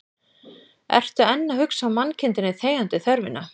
Ertu enn að hugsa mannkindinni þegjandi þörfina